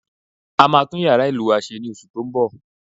A máa tún yàrá ìlù wa se ní oṣù tó ń bọ̀